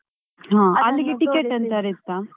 ಹಾ ಅಲ್ಲಿಗೆ ticket ಎಂತಾದ್ರೂ ಇತ್ತಾ.